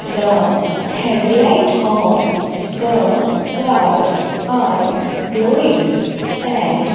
the head light of the cars are glowing and--